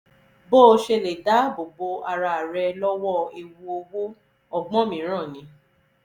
bó o ṣe lè dáàbò bo ara rẹ lọ́wọ́ ewu owó: ọgbọ́n mìíràn ni